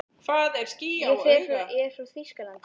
Ég er frá Þýskalandi.